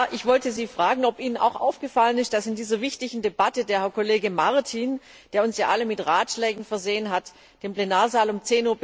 Ich wollte Sie fragen, ob Ihnen auch aufgefallen ist, dass in dieser wichtigen Debatte der Kollege Martin, der uns ja alle mit Ratschlägen versehen hat, den Plenarsaal um